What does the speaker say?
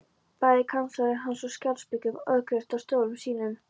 Bæði kanslari hans og Sjálandsbiskup ókyrrðust á stólum sínum.